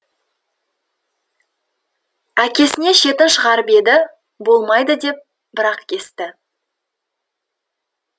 әкесіне шетін шығарып еді болмайды деп бір ақ кесті